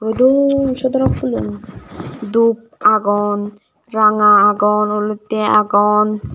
dhub sodorok fhoolo un dhub agon ranga agon olottey agon.